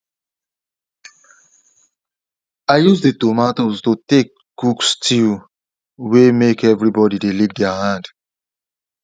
i use the tomatoes to take cook stew way make everybody they lick their hand